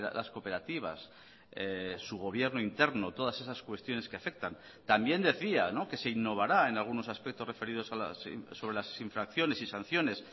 las cooperativas su gobierno interno todas esas cuestiones que afectan también decía que se innovará en algunos aspectos referidos sobre las infracciones y sanciones